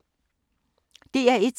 DR1